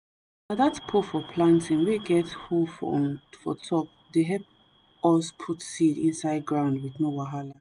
na that pole for planting wey get hoe for top de help us put seed inside ground with no wahala